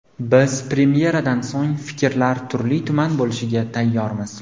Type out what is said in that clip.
Biz premyeradan so‘ng fikrlar turli-tuman bo‘lishiga tayyormiz.